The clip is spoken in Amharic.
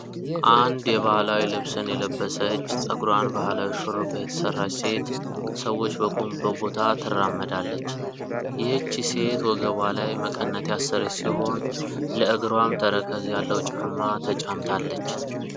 አንድ የባህላዊ ልብስን የለበሰች ጸጉሯን ባህላዊ ሹሩባ የተሰራች ሴት ሰዎች በቆሙበት ቦታ ትራመዳለች። ይህቺ ሴት ወገቧ ላይ መቀነት ያሰረች ሲሆን ለእግሯም ተረከዝ ያለው ጫማ ተጫምታለች።